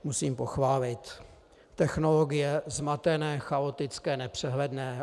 Musím pochválit. Technologie - zmatené, chaotické, nepřehledné.